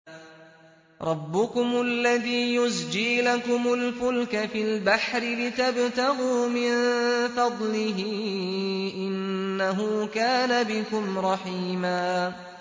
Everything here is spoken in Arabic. رَّبُّكُمُ الَّذِي يُزْجِي لَكُمُ الْفُلْكَ فِي الْبَحْرِ لِتَبْتَغُوا مِن فَضْلِهِ ۚ إِنَّهُ كَانَ بِكُمْ رَحِيمًا